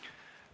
Aitäh!